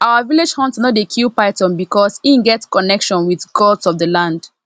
our village hunter no dey kill python because e get connection with gods of the land